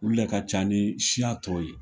Olu lɛ ka ca ni siya tɔw ye.